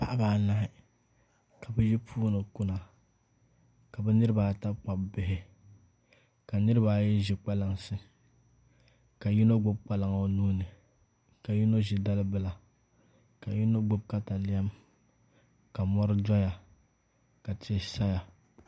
Paɣaba anahi ka bi yi puuni kuna ka bi niraba ata gbubi bihi ka niraba ayi ʒi kpalansi ka yino gbubi kpalaŋ o nuuni ka yino ʒi dalibila ka yino ʒi katalɛm ka mɔri doya ka tia saya